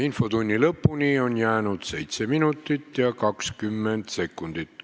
Infotunni lõpuni on jäänud 7 minutit ja 20 sekundit.